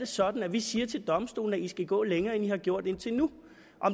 sådan at vi siger til domstolene at de skal gå længere end de har gjort indtil nu